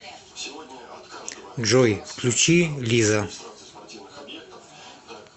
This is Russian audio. джой включи лиза